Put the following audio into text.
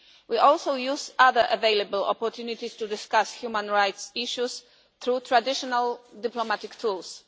We also use other available opportunities to discuss human rights issues, through traditional diplomatic tools.